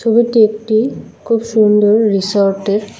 ছবিটি একটি খুব সুন্দর রিসর্ট -এর।